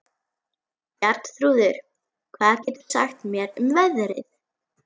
Bjarnþrúður, hvað geturðu sagt mér um veðrið?